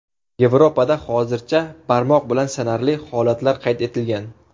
Yevropada hozircha barmoq bilan sanarli holatlar qayd etilgan.